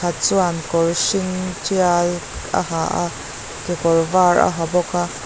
chuan kawr hring ṭial a ha a kekawr var a ha bawk a.